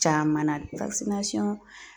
Caman na